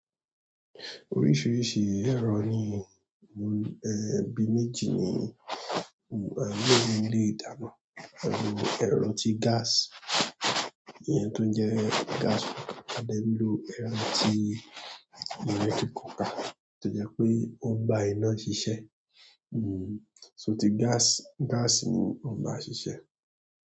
Oríṣiríṣi ẹ̀rọ ni, ẹ́ bi méjì ni a ń lò ní ilé ìdáná. Ẹ̀rọ tí gas, ìyẹn tó ń jẹ gas cooker, a dẹ n ló ẹ̀rọ tí electrical cooker tó jẹ pé ó ń bá iná ṣiṣẹ́. To ti gas, gas ni o n ba sisẹ.